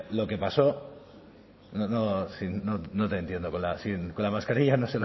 lo que pasó no te entiendo con la mascarilla no